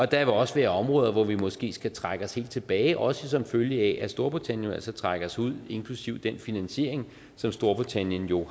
der vil også være områder hvor vi måske skal trække os helt tilbage også som følge af at storbritannien jo altså trækker sig ud inklusive den finansiering som storbritannien jo